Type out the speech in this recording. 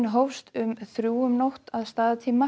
hófst um þrjú um nótt að staðartíma